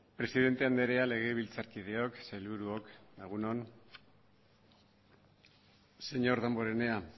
presidente andrea legebiltzarkideok sailburuok egun on señor damborenea